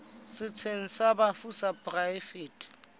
setsheng sa bafu sa poraefete